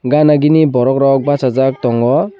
ganagini borok rok basak tongo.